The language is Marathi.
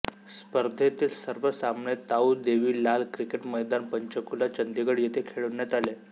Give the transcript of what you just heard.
स्पर्धेतील सर्व सामने ताउ देवी लाल क्रिकेट मैदान पंचकुला चंदिगड येथे खेळवण्यात आले